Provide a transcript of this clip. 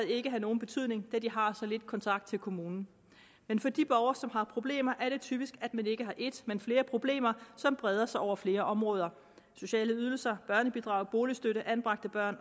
ikke have nogen betydning da de har så lidt kontakt til kommunen men for de borgere som har problemer er det typisk at man ikke har et men flere problemer som breder sig over flere områder sociale ydelser børnebidrag boligstøtte anbragte børn